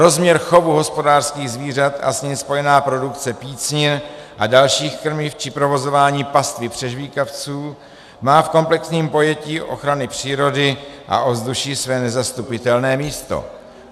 Rozměr chovu hospodářských zvířat a s ním spojená produkce pícnin a dalších krmiv či provozování pastvy přežvýkavců má v komplexním pojetí ochrany přírody a ovzduší své nezastupitelné místo.